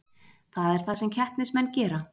Það er það sem keppnismenn gera